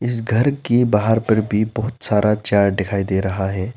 इस घर की बाहर पर भी बहोत सारा चार्ट दिखाई दे रहा है।